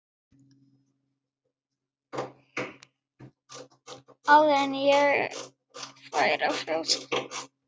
Áður en færi að frjósa.